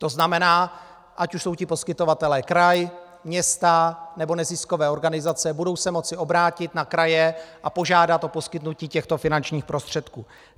To znamená, ať už jsou ti poskytovatelé kraj, města nebo neziskové organizace, budou se moci obrátit na kraje a požádat o poskytnutí těchto finančních prostředků.